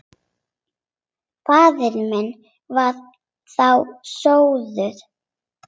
Faðir minn var þá sóttur.